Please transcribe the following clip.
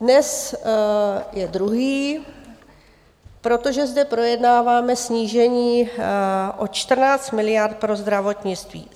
Dnes je druhý, protože zde projednáváme snížení o 14 miliard pro zdravotnictví.